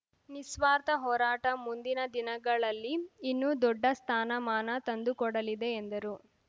ನಿಸ್ವಾರ್ಥ ಹೋರಾಟ ಮುಂದಿನ ದಿನಗಳಲ್ಲಿ ಇನ್ನೂ ದೊಡ್ಡ ಸ್ಥಾನಮಾನ ತಂದುಕೊಡಲಿದೆ ಎಂದರು